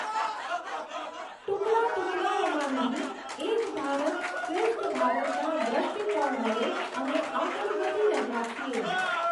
ટુકડા ટુકડાઓમાં નહીં, એક ભારત શ્રેષ્ઠ ભારતના દૃષ્ટિકોણ વડે જઅમે આગળ વધી રહ્યા છીએ.